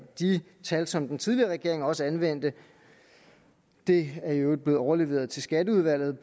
de tal som den tidligere regering også anvendte det er i øvrigt blevet overleveret til skatteudvalget